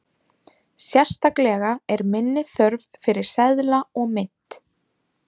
Sérstaklega er minni þörf fyrir seðla og mynt.